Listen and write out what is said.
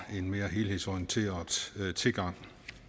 en mere helhedsorienteret tilgang